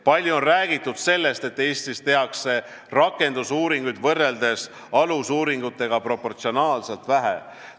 Palju on räägitud sellest, et Eestis tehakse rakendusuuringuid alusuuringutega võrreldes proportsionaalselt vähe.